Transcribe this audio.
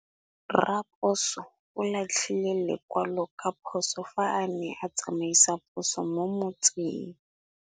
Raposo o latlhie lekwalô ka phosô fa a ne a tsamaisa poso mo motseng.